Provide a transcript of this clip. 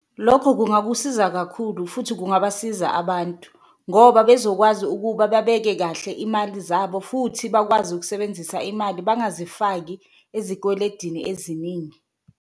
Lokho kungakusiza kakhulu futhi kungabasiza abantu ngoba bezokwazi ukuba babeke kahle imali zabo, futhi bakwazi ukusebenzisa imali bangazifaki ezikweledini eziningi.